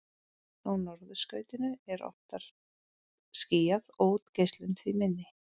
Á norðurskautinu er oftar skýjað og útgeislun því minni.